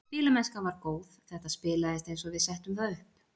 Spilamennskan var góð, þetta spilaðist eins og við settum það upp.